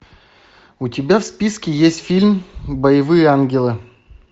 у тебя в списке есть фильм боевые ангелы